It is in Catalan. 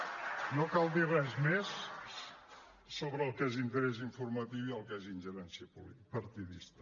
no cal dir res més sobre el que és interès informatiu i el que és ingerència partidista